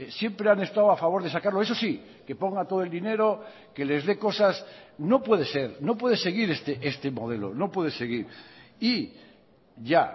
siempre han estado a favor de sacarlo eso sí que ponga todo el dinero que les dé cosas no puede ser no puede seguir este modelo no puede seguir y ya